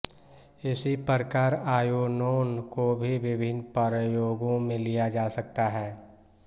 इसी प्रकार आयोनोन को भी विभिन्न प्रयोगों में लिया जा सकता है